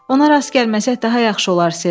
Ona rast gəlməsək, daha yaxşı olar, Ser.